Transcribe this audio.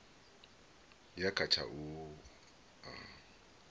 ya kha tsha u a